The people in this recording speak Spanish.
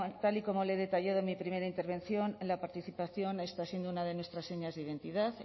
tal y como le he detallado en mi primera intervención la participación está siendo una de nuestras señas de identidad